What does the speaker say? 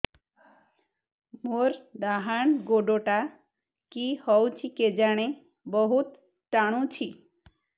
ମୋର୍ ଡାହାଣ୍ ଗୋଡ଼ଟା କି ହଉଚି କେଜାଣେ ବହୁତ୍ ଟାଣୁଛି